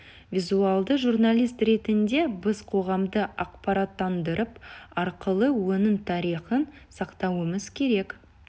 визуалды журналист ретінде біз қоғамды ақпараттандырып арқылы оның тарихын сақтауымыз керек